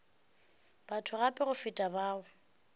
batho gape go feta fao